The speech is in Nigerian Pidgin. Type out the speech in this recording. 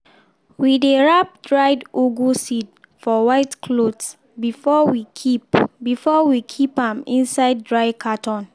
we dey wrap dried ugu seed for white cloth before we keep before we keep am inside dry carton.